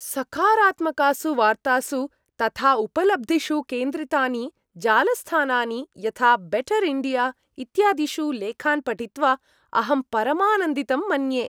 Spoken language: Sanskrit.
सकारात्मकासु वार्तासु तथा उपलब्धिषु केन्द्रितानि जालस्थानानि यथा बेटर् इण्डिया इत्यादिषु लेखान् पठित्वा अहम् परमानन्दितं मन्ये।